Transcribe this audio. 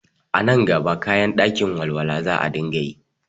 A nan gaba kayan ɗakin walwa za a dinga yi